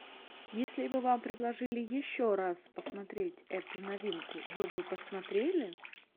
если бы вам предложили еще раз посмотреть эту новинку вы бы посмотрели